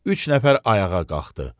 Üç nəfər ayağa qalxdı.